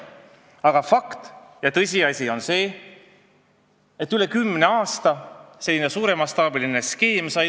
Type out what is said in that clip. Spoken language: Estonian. Aga fakt on see, et rohkem kui kümne aasta jooksul sai toimida suuremastaabiline skeem.